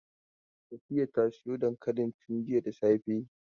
Safiya ta soya dankalin tun jiya da safe.